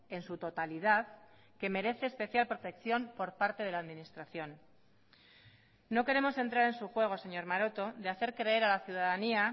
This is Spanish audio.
en su totalidad que merece especial protección por parte de la administración no queremos entrar en su juego señor maroto de hacer creer a la ciudadanía